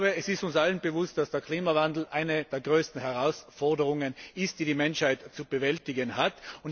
Ich glaube, es ist uns allen bewusst, dass der Klimawandel eine der größten Herausforderungen ist, die die Menschheit zu bewältigen hat.